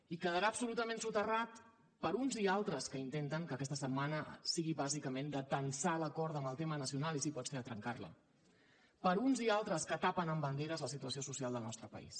i quedarà absolutament soterrat per uns i altres que intenten que aquesta setmana sigui bàsicament de tensar la corda amb el tema nacional i si pot ser de trencar la per uns i altres que tapen amb banderes la situació social del nostre país